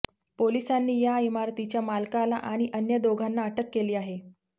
पोलिसांनी या इमारतीच्या मालकाला आणि अन्य दोघांना अटक केली आहे